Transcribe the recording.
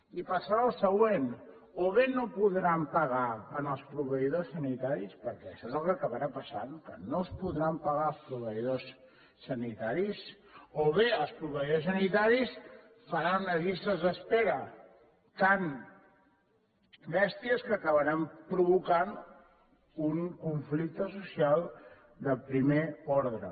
i passarà el següent o bé no podran pagar als proveïdors sanitaris perquè això és el que acabarà passant que no es podran pagar els proveïdors sanitaris o bé els proveïdors sanitaris faran unes llistes d’espera tan bèsties que acabaran provocant un conflicte social de primer ordre